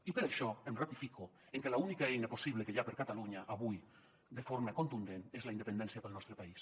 i per això em ratifico en que l’única eina possible que hi ha per a catalunya avui de forma contundent és la independència per al nostre país